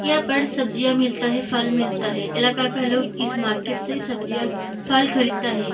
यहाँ पे सब्जियाँ मिलता है फल मिलता है इलाका का लोग इस मार्किट से सब्जियाँ फल खरीदता है।